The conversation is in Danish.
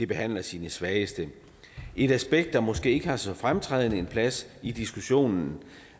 behandler sine svageste et aspekt der måske ikke har så fremtrædende en plads i diskussionen